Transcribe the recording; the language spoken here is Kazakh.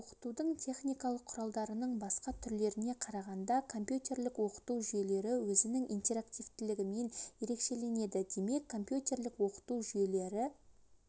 оқытудың техникалық құралдарының басқа түрлеріне қарағанда компьютерлік оқыту жүйелері өзінің интерактивтілігімен ерекшеленеді демек компьютерлік оқыту жүйелері